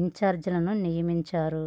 ఇంచార్జీలను నియమించారు